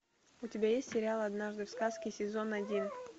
у тебя есть сериал однажды в сказке сезон один